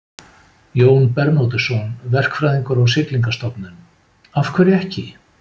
Jón Bernódusson, verkfræðingur á Siglingastofnun: Af hverju ekki?